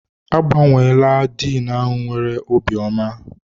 Agbanweela Diin ahụ nwere obi ọma.